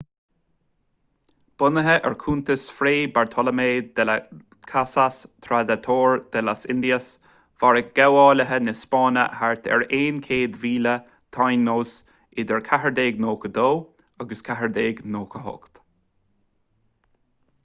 bunaithe ar chuntas fray bartolomé de las casas tratado de las indias mharaigh gabhálaithe na spáinne thart ar 100,000 taínos idir 1492 agus 1498